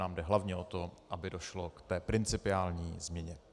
Nám jde hlavně o to, aby došlo k té principiální změně.